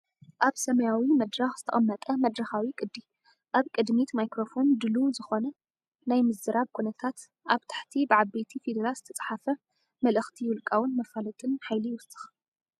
ኣብ ሰማያዊ መድረኽ ዝተቐመጠ መድረኻዊ ቅዲ፡ ኣብ ቅድሚት ማይክሮፎን ድሉው ዝኾነ ናይ ምዝራብ ኩነታት። ኣብ ታሕቲ ብዓበይቲ ፊደላት ዝተጻሕፈ መልእኽቲ ውልቃውን መፋለጥን ሓይሊ ይውስኽ።